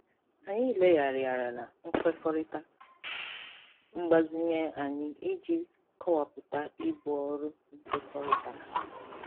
Anyị legharịala nkwekọrịta mgbazinye anyị iji kọwapụta ibu ọrụ nkekọrịtara.